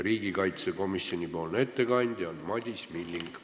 Riigikaitsekomisjoni ettekandja on Madis Milling.